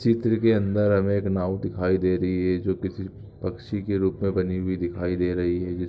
चित्र के अंदर हमें एक नाव दिखाई दे रही है जो किसी पक्षी के रूप में बनी हुई दिखाई दे रही है जिस--